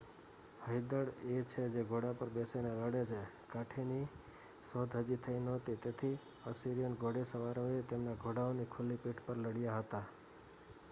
હયદળ એ છે જે ઘોડા પર બેસીને લડે છે કાઠીની શોધ હજી થઈ નહોતી તેથી અસિરિયન ઘોડેસવારોએ તેમના ઘોડાઓની ખુલ્લી પીઠ પર લડ્યા હતા